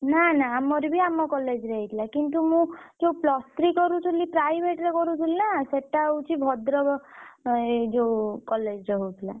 ନା ନା ଆମର ବି ଆମ college ରେ ହେଇଥିଲା କିନ୍ତୁ ମୁଁ ଯୋଉ plus three କରୁଥିଲି private ରେ କରୁଥିଲି ନା ସେଟା ହଉଛି ଭଦ୍ରକ ଏଁ ଯୋଉ college ରେ ହଉଥିଲା।